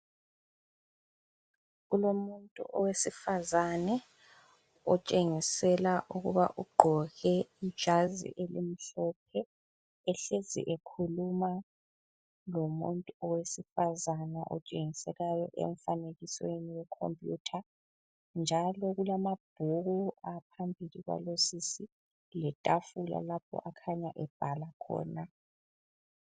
Kulomuntu owesifazane otshengisela ukuba ugqoke ijazi elimhlophe, ehlezi ekhuluma lomuntu owesifazane otshengiselayo emfanekwisweni wekhompiyutha njalo kulamabhuku aphambili kwalosisi letafula lapho akhanya ebhala khona